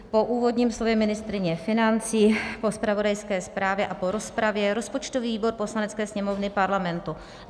Po úvodním slově ministryně financí, po zpravodajské zprávě a po rozpravě rozpočtový výbor Poslanecké sněmovny Parlamentu